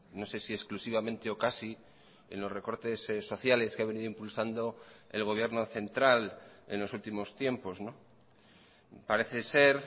no sé si exclusivamente o casi en los recortes sociales que ha venido impulsando el gobierno central en los últimos tiempos parece ser